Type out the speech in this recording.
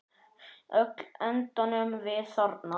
Öll endum við þarna.